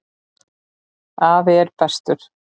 Afi er bestur.